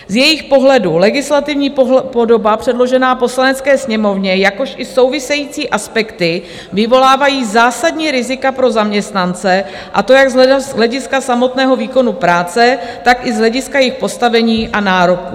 Z jejich pohledu legislativní podoba předložená Poslanecké sněmovně, jakož i související aspekty, vyvolávají zásadní rizika pro zaměstnance, a to jak z hlediska samotného výkonu práce, tak i z hlediska jejich postavení a nároků.